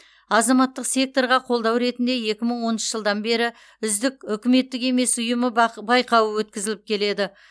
азаматтық секторға қолдау ретінде екі мың оныншы жылдан бері үздік үкіметтік емес ұйымы бақ байқауы өткізіліп келеді